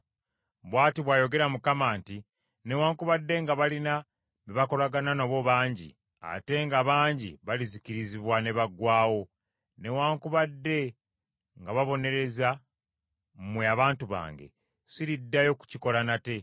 Bw’ati bw’ayogera Mukama nti, “Newaakubadde nga balina be bakolagana nabo bangi, ate nga bangi, balizikirizibwa ne baggwaawo. Newaakubadde nga mbabonereza mmwe abantu bange, siriddayo kukikola nate.